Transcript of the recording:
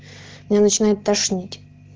меня начинает тошнить